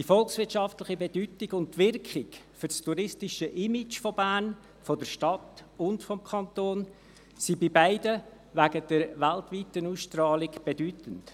Die volkswirtschaftliche Bedeutung und die Wirkung für das touristische Image von Bern – von der Stadt und vom Kanton – sind in beiden Fällen wegen der weltweiten Ausstrahlung bedeutend.